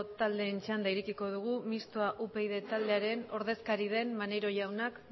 taldeen txanda irekiko dugu mistoa upyd taldearen ordezkaria den maneiro jaunak